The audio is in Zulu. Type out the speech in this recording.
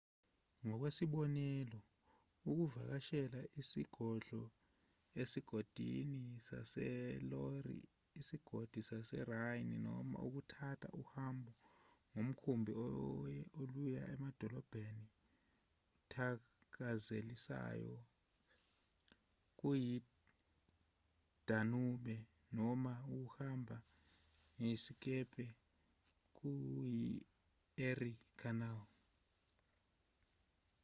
ngokwesibonelo ukuvakashela izigodlo esigodini saseloire isigodi saserhine noma ukuthatha uhambo ngomkhumbi oluya emadolobheni athakazelisayo kuyidanube noma ukuhamba ngesikebhe kuyi-erie canal